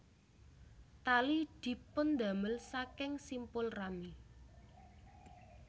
Tali dipundamel saking simpul rami